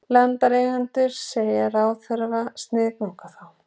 Landeigendur segja ráðherra sniðganga þá